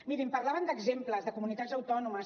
mirin parlaven d’exemples de comunitats autònomes